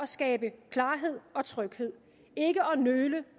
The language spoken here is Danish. skabe klarhed og tryghed ikke at nøle